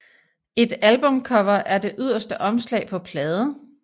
Et albumcover er det yderste omslag på plade